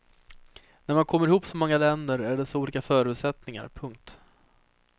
När man kommer ihop så många länder är det så olika förutsättningar. punkt